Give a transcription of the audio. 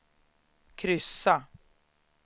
kryssa